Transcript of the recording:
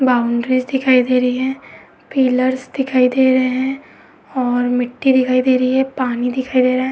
Boundaries दिखाई दे रही है। पिलर्स दिखाई दे रहे हैं और मिट्टी दिखाई दे रही है। पानी दिखाई दे रहे हैं।